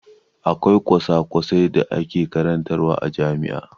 Akwai kwasa-kwasai da ake karantawa a jami'a.